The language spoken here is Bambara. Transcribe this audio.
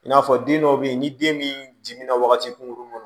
I n'a fɔ den dɔw bɛ yen ni den min jiminra wagati kunkurunin kɔnɔ